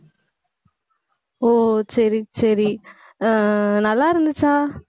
ஓ, சரி, சரி ஆஹ் நல்லா இருந்துச்சா